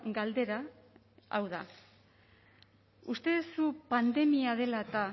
galdera hau da uste duzu pandemia dela eta